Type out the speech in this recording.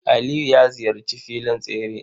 Aliyu ya ziyarci filin tsere.